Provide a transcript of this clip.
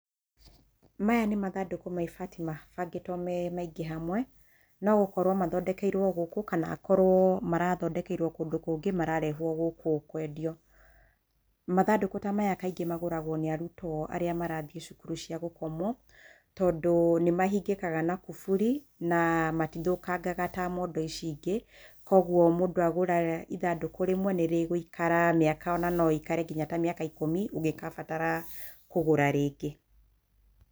Maya nĩ mathandũkũ ma ibati mabangĩtwo me maingĩ hamwe nogũkorwo mathondekeirwo gũkũ kana akorwo marathondekeirwo kũndũ kũngĩ mararehwo gũkũ kwendio, mathandũkũ ta maya kaingĩ magũragwo nĩ arutwo arĩa marathiĩ cukuru cia gũkomwo tondũ nĩmahingĩkaga na kuburi na matithũkangaga ta mondo ici ingĩ kwoguo mũndũ agũra ithandũkũ rĩmwe nĩrĩgũikara mĩaka ona norĩikare ta mĩaka ikumi ũngigabatara kũgũra rĩngĩ.